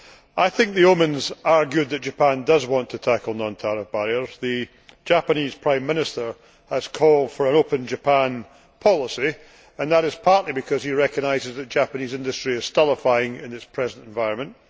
However, I think the omens are good that Japan does want to tackle non tariff barriers. The Japanese Prime Minister has called for an open Japan' policy, and that is partly because he recognises that Japanese industry is stultifying in its present environment.